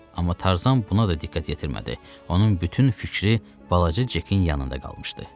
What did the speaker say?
Amma Tarzan buna da diqqət yetirmədi, onun bütün fikri balaca Cekin yanında qalmışdı.